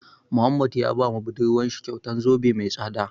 Muhammad ya ba budurwar shi kyautan zobe mai tsada.